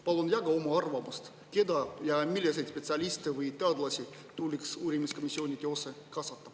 Palun jaga oma arvamust, keda, milliseid spetsialiste või teadlasi tuleks uurimiskomisjoni töösse kaasata.